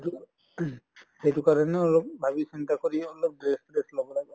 সেইটো ing সেইটো কাৰণেও অলপ ভাবি চিন্তা কৰি অলপ dress বিলাক লʼব লাগে আৰু